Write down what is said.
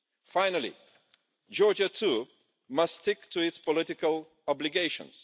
Finally, Georgia too must stick to its political obligations.